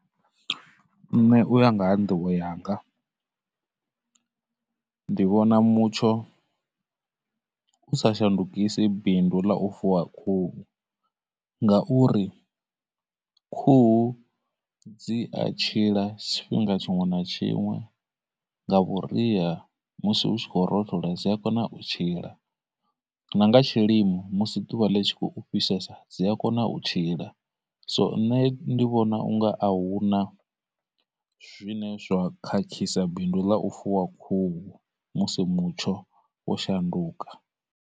Nṋe uya nga ha nḓivho yanga ndi vhona mutsho u sa shandukisi bindu ḽa u fuwa khuhu ngauri, khuhu dzi a tshiḽa tshifhinga tshiṅwe na tshiṅwe, nga vhuria musi hu tshi khou rothola dzi a kona u tshila, na nga tshilimo musi ḓuvha ḽi tshi khou fhisesa dzi a kona u tshila, nṋe ndi vhona unga ahuna zwine zwa khakhisa bindu ḽa u fuwa khuhu musi mutsho wo shanduka.